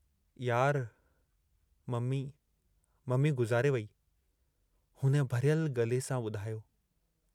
यार, mummy mummy गुज़ारे वेई " हुन भरियल गले सां ॿुधायो।